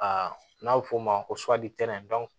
A n'a bɛ f'o ma ko